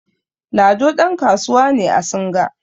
Lado ɗankasuwa ne a singa